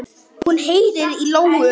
Hún heyrir í lóu.